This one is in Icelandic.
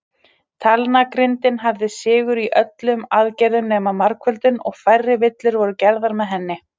Talnagrindin hafði sigur í öllum aðgerðum nema margföldun, og færri villur voru gerðar með henni.